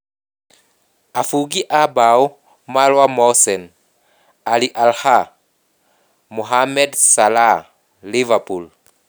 Afungi a mbao Marwan Mohsen (Al Ahly), Mohamed Salah (Liverpool)